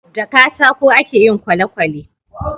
da katako a ke yin kwalekwale